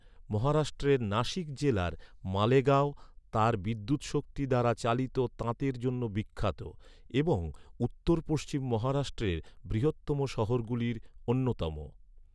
মহারাষ্ট্রের নাসিক জেলার মালেগাঁও, তার বিদ্যুৎশক্তি দ্বারা চালিত তাঁতের জন্য বিখ্যাত এবং উত্তর পশ্চিম মহারাষ্ট্রের বৃহত্তম শহরগুলির অন্যতম।